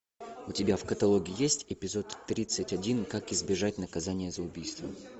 у тебя в каталоге есть эпизод тридцать один как избежать наказания за убийство